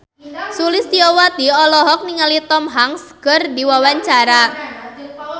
Sulistyowati olohok ningali Tom Hanks keur diwawancara